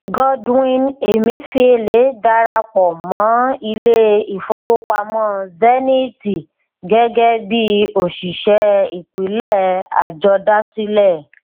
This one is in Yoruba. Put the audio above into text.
godwin emefiele darapọ mọ ilé ìfowópamọ zeniti gẹgẹ bí oṣìṣẹ ìpìlẹ àjọdásílẹ